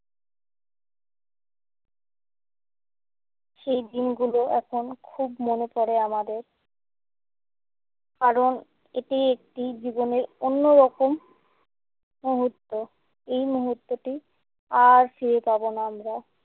সেই দিনগুলো এখন খুব মনে পড়ে আমাদের। কারণ এটি একটি জীবনের অন্যরকম মুহূর্ত। এই মুহূর্তটি আর ফিরে পাবো না আমরা।